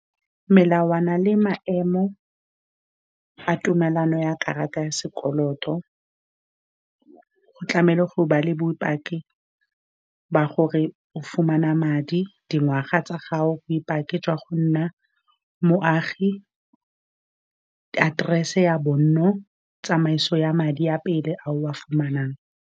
Melawana le maemo a tumalano ya karata ya sekoloto, go tlamehile go ba le bopaki ba gore o fumana madi, dingwaga tsa gago, bopaki jwa go nna moagi, address-se ya bonno, tsamaiso ya madi a pele a o a fumanang.